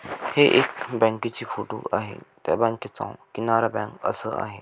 हे एक बँकेची फोटो आहे त्या बँकेचा किनारा बँक असा आहे.